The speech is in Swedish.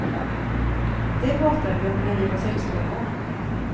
Det pratade vi om när vi var sexton år.